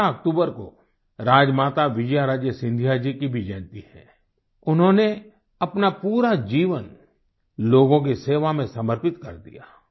इस 12 अक्टूबर को राजमाता विजयाराजे सिंधिया जी की भी जयंती है उन्होंने अपना पूरा जीवन लोगों की सेवा में समर्पित कर दिया